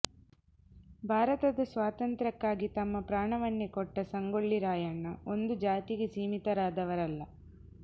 ಭಾರತದ ಸ್ವಾತಂತ್ರ್ಯಕ್ಕಾಗಿ ತಮ್ಮ ಪ್ರಾಣವನ್ನೆ ಕೊಟ್ಟ ಸಂಗೊಳ್ಳಿ ರಾಯಣ್ಣ ಒಂದು ಜಾತಿಗೆ ಸೀಮಿತರಾದವರಲ್ಲ